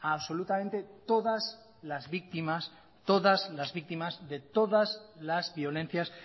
absolutamente todas las víctimas de todas las violencias